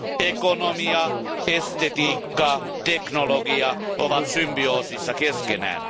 Ekonomia, estetiikka ja teknologia ovat symbioosissa keskenään.